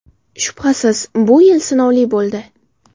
Shubhasiz, bu yil sinovli bo‘ldi.